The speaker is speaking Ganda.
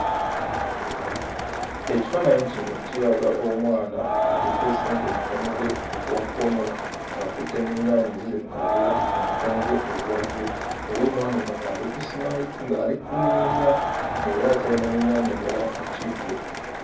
Ekifaananyi kino kiraga omwana akutte ssente mukono gwe ogwa kkono ng'akutte n'ennyaanya eziri mu kaveera mu mukono gwe ogwa ddyo era omwana ono ng'ali kusimayi ng'ali kumwenya ng'era akyalina n'ennyaanya endala mu kibbo.